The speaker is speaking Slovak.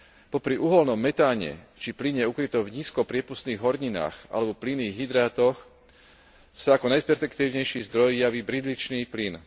Popri uhoľnom metáne či plyne ukrytom v nízko priepustných horninách alebo plynných hydrátoch sa ako najperspektívnejší zdroj javí bridlicový plyn.